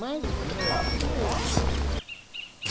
Mas foi.